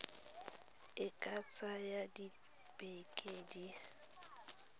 e ka tsaya dibeke di